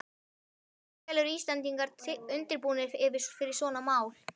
En hversu vel eru Íslendingar undirbúnir fyrir svona mál?